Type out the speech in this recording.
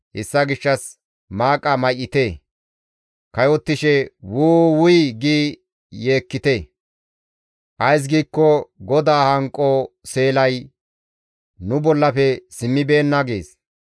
Hessa gishshas maaqa may7ite; kayottishe, ‹Wuu! Wuy› gi yeekkite. Ays giikko GODAA hanqo seelay nu bollafe simmibeenna» gees.